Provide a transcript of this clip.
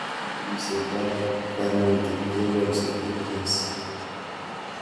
Chikilishet ab kanetik kepoishe ETS